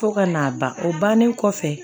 Fo ka n'a ban o bannen kɔfɛ